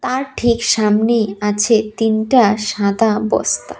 আর ঠিক সামনেই আছে তিনটা সাদা বস্তা।